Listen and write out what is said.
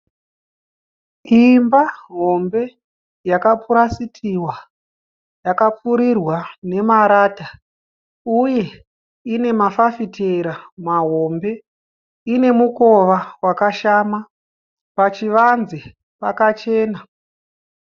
Imba hombe yakapurasitiwa yakapfurirwa nemarata uye ine mafafitera mahombe. Ine mukowa wakashama. Pachivanze pakachena.